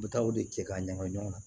U bɛ taa o de kɛ k'a ɲagami ɲɔgɔn na